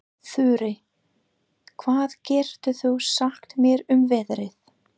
Þurí, hvað geturðu sagt mér um veðrið?